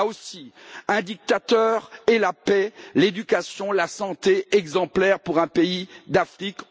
Là aussi, un dictateur, et la paix, l'éducation, la santé, exemplaires pour un pays d'Afrique.